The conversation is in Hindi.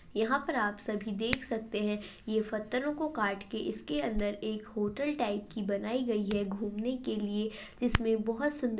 यहाँ पर आप सभी देख सकते है ये पत्थरो को काट के इसके अंदर एक होटल टाइप की बनाई गई है। घूमने के लिए जिसमे बहुत सुंदर --